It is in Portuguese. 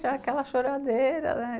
Já aquela choradeira, né?